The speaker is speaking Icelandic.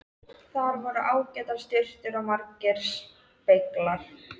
Þar voru ágætar sturtur og margir speglar!